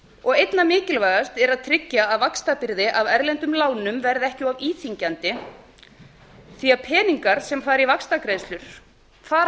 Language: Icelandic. og einna mikilvægast er að tryggja að vaxtabyrði af erlendum lánum verði ekki of íþyngjandi því að peningar sem fara í vaxtagreiðslur fara